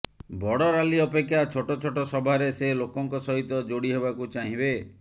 ବଡ଼ ରାଲି ଅପେକ୍ଷା ଛୋଟ ଛୋଟ ସଭାରେ ସେ ଲୋକଙ୍କ ସହିତ ଯୋଡି ହେବାକୁ ଚାହିଁବେ